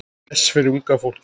Gess fyrir unga fólkið.